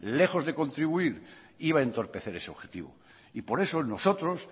lejos de contribuir iba a entorpecer ese objetivo y por eso nosotros